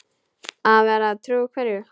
Að vera trú hverju?